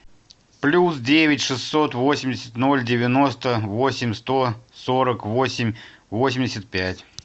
плюс девять шестьсот восемьдесят ноль девяносто восемь сто сорок восемь восемьдесят пять